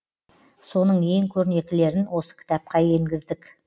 соның ең көрнектілерін осы кітапқа енгіздік